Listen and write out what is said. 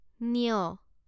ঞ